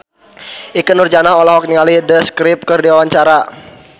Ikke Nurjanah olohok ningali The Script keur diwawancara